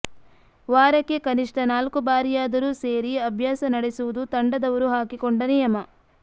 ವಾರಕ್ಕೆ ಕನಿಷ್ಠ ನಾಲ್ಕು ಬಾರಿಯಾದರೂ ಸೇರಿ ಅಭ್ಯಾಸ ನಡೆಸುವುದು ತಂಡದವರು ಹಾಕಿಕೊಂಡ ನಿಯಮ